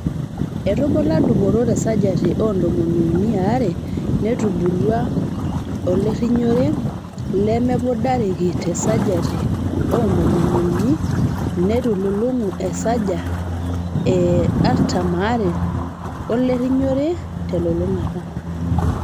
Etubulua dupoto te sajati o ntomon unii aare netubulua olerinyore lemedupareki tesaji oo ntomon unii neitululungu esaji e artam aare olerinyore telulungata.